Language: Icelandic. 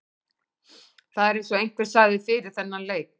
Það er eins og einhver sagði fyrir þennan leik.